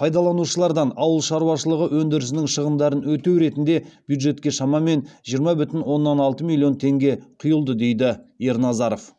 пайдаланушылардан ауыл шаруашылығы өндірісінің шығындарын өтеу ретінде бюджетке шамамен жиырма бүтін оннан алты миллион теңге құйылды дейді ерназаров